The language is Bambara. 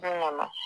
Don kɔnɔ